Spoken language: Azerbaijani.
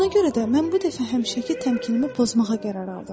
Buna görə də mən bu dəfə həmişəki təmkinimi pozmağa qərar aldım.